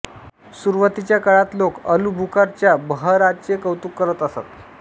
सुरुवातीच्या काळात लोक अलुबुखारच्या बहराचे कौतुक करत असत